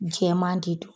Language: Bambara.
Jɛman de don